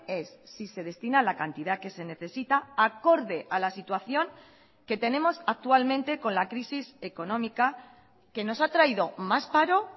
es si se destina la cantidad que se necesita acorde a la situación que tenemos actualmente con la crisis económica que nos ha traído más paro